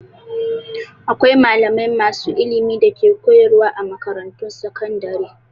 Akwai malamai masu ilimi da ke koyarwa a makarantun sakandare.